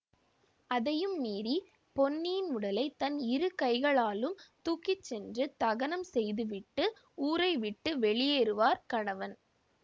அதையும் மீறி பொன்னியின் உடலை தன் இரு கைகளாலும் தூக்கிச்சென்று தகனம் செய்து விட்டு ஊரை விட்டு வெளியேறுவார்கணவன்